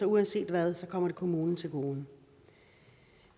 uanset hvad kommer kommunen til gode